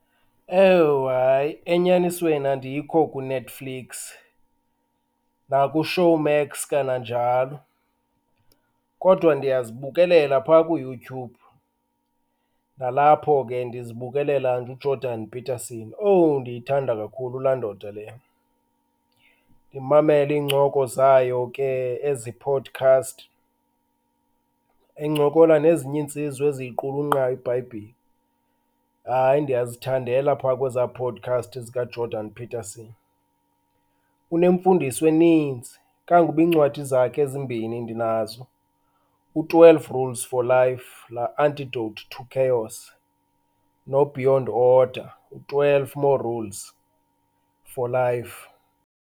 Ewu hayi enyanisweni andikho kuNetflix nakuShowmax kananjalo, kodwa ndiyazibukelela pha kuYouTube. Nalapho ke ndizibukelela nje uJordan Peterson, owu, ndiyithanda kakhulu la ndoda leya, ndimamele iincoko zayo ke, ezi podcast encokola nezinye iintsizwa eziyiqulunqayo iBhayibhile. Hayi ndiyazithandela pha kweza podcast zikaJordan Peterson, unemfundiso eninzi kangokuba iincwadi zakhe ezimbini ndinazo, u-twelve rules for life la antidote to chaos, no-beyond order, u-twelve more rules for life.